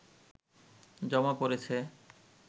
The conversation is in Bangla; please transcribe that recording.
জমা পড়েছে